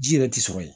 Ji yɛrɛ ti sɔrɔ yen